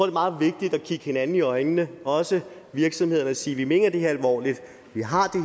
er meget vigtigt at kigge hinanden i øjnene også virksomhederne og sige vi mener det her alvorligt vi har